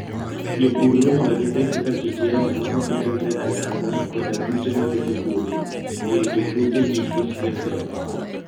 Jopur romo gi pek kaka kit yamo ma ok nenre ayanga koda kute maketho puothe, e rito puothegi kik kethre.